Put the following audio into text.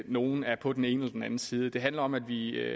nogle er på den ene eller den anden side det handler om at vi